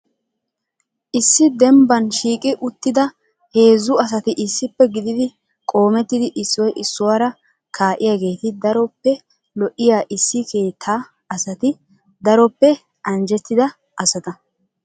Issi dembban shiiqi uttida heezzu asati issippe gididi qoomettidi issoy issuwaara kaa'iyaageeti daroppe lo"iyaa issi keettaa asati daroppe anjjetida asata.